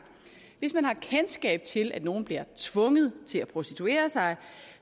hvis man har kendskab til at nogen bliver tvunget til at prostituere sig